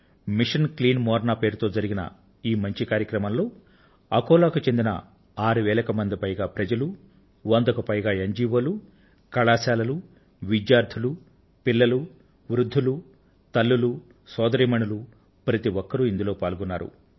machine clean Morna పేరిట జరిగిన ఈ మంచి కార్యక్రమంలో అకోలా కు చెందిన ఆరు వేలకు పైగా ప్రజలు వందకు పైగా ఎన్ జి ఒ లు కళాశాలలూ విద్యార్థులు పిల్లలు వృద్ధులు తల్లులు సోదరీమణులు ప్రతి ఒక్కరూ ఇందులో పాల్గొన్నారు